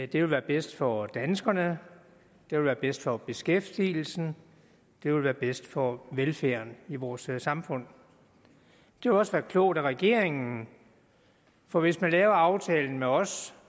det vil være bedst for danskerne det vil være bedst for beskæftigelsen det vil være bedst for velfærden i vores samfund det vil også være klogt af regeringen for hvis man laver aftalen med os